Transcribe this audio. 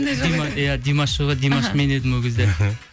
иә димаш жоқ еді димаш мен едім ол кезде іхі